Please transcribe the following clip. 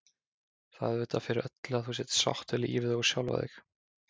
Það er auðvitað fyrir öllu að þú sért sátt við lífið og sjálfa þig.